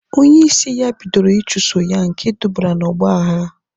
Onye isi ya bidoro ichuso ya nke dubara na ọgba aghara